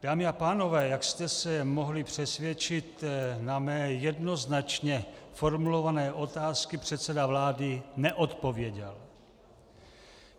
Dámy a pánové, jak jste se mohli přesvědčit, na mé jednoznačně formulované otázky předseda vlády neodpověděl.